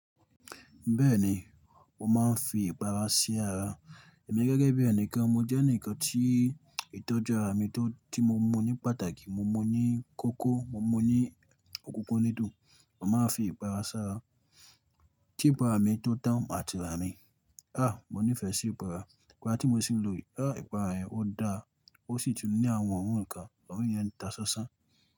Bẹ́ẹ̀ni, mo máa ń fi ìpara sí ara. Ẹ̀mí gẹ́gẹ́ bí ẹnìkan, mo jẹ́ ẹnìkan tí ìtọ́jú ara mi tó tí mo mú ní pàtàkì. Mo mú ní kókó, mo mú ní òkùnkùn nídùú, mo máa ń fi ìpara sí ara. Kí ìpara mi tó tán màti ra imi. Mo nífẹ̀ẹ́ sí ìpara. Ìpara tí mo sì ń lò yìí. Ìpara yẹn ó dáa, ó sì tún ní àwọn òórùn kan, òórùn yen ń ta ṣánṣán.